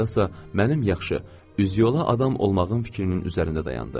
Axırda isə mənim yaxşı, üzü yola adam olmağım fikrinin üzərində dayandı.